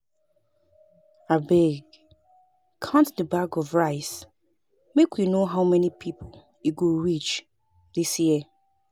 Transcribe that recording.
Abeg count the bags of rice make we no how many people e go reach dis year